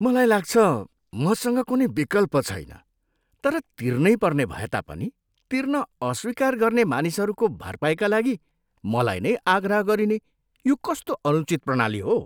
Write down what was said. मलाई लाग्छ मसँग कुनै विकल्प छैन। तर तिर्नैपर्ने भएता पनि तिर्न अस्वीकार गर्ने मानिसहरूको भरपाईका लागि मलाई नै आग्रह गरिने यो कस्तो अनुचित प्रणाली हो?